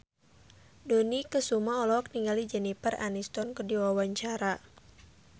Dony Kesuma olohok ningali Jennifer Aniston keur diwawancara